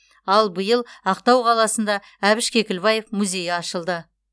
ал биыл ақтау қаласында әбіш кекілбаев музейі ашылды